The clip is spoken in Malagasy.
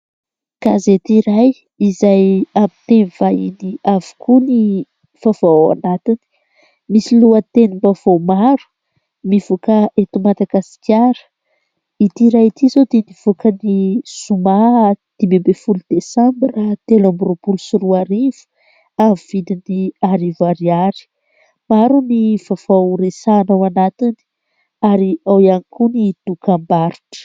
Gazety iray izay amin'ny teny vahiny avokoa ny vaovao ao anatiny. Misy lohatenim-baovao maro mivoaka eto Madagasikara. Itỳ iray itỳ izao dia nivoaka ny zoma dimy ambin'ny folo desambra telo amby roapolo sy roarivo amin'ny vidiny arivo ariary. Maro ny vaovao resahina ao anatiny ary ao ihany koa ny dokam-barotra.